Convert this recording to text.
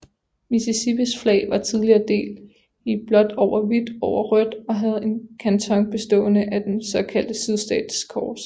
Mississippis flag var tidligere delt i blåt over hvidt over rødt og havde en kanton bestående af det såkaldte sydstatskors